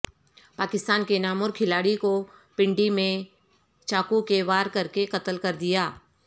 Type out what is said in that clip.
پاکستان کے نامور کھلاڑی کو پنڈی میں چاقو کے وار کرکے قتل کر دیا گیا